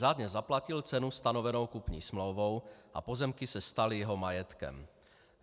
Řádně zaplatil cenu stanovenou kupní smlouvou a pozemky se staly jeho majetkem.